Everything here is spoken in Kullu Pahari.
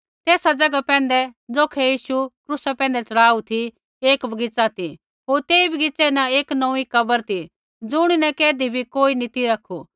तेसा ज़ैगा पैंधै ज़ौखै यीशु क्रूसा पैंधै च़ढ़ाऊ ती एक बगीच़ा ती होर तेई बगीच़ै न एक नौंऊँईं कब्र ती ज़ुणीन कैधी भी कोई नी ती रखु